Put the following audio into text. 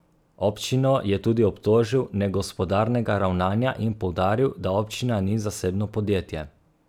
Občino je tudi obtožil negospodarnega ravnanja in poudaril, da občina ni zasebno podjetje.